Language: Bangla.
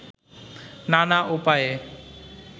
নানা উপায়ে